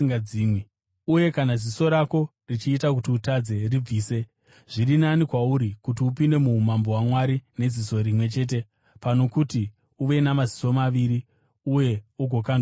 Uye kana ziso rako richiita kuti utadze, ribvise. Zviri nani kwauri kuti upinde muumambo hwaMwari neziso rimwe chete pano kuti uve namaziso maviri uye ugokandwa kugehena,